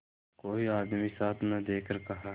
कोई आदमी साथ न देखकर कहा